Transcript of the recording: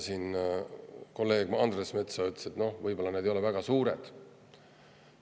Kolleeg Andres Metsoja ütles, et võib-olla need ei ole väga suured.